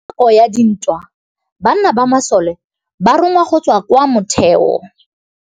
Ka nakô ya dintwa banna ba masole ba rongwa go tswa kwa mothêô.